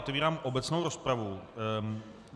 Otevírám obecnou rozpravu.